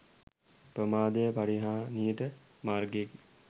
ප්‍රමාදය පරිහාණියට මාර්ගයකි.